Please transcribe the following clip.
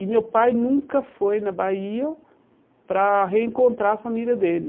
E meu pai nunca foi na Bahia para reencontrar a família dele.